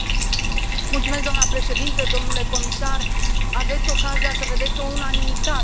Doamnă președintă, domnule comisar, aveți ocazia să vedeți o unanimitate aici.